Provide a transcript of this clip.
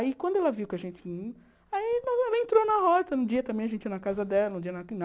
Aí quando ela viu que a gente vinha, aí ela entrou na rota, um dia também a gente ia na casa dela, um dia na na